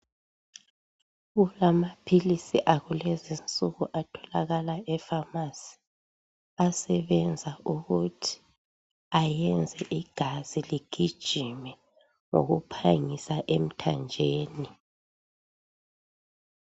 Kulama philisi akulenzi nsuku atholakala epharmacy asebenza ukuthi ayenze igazi ligijime ngokuphangisa emthanjeni.